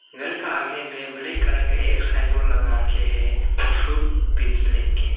घर का आगे में ब्लैक कलर का एक साइन बोर्ड लगा के हैं फ्रूट बींस लिख के।